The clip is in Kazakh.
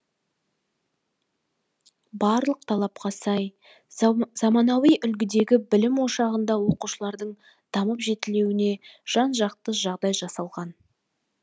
барлық талапқа сай замануи үлгідегі білім ошағында оқушылардың дамып жетілуіне жан жақты жағдай жасалған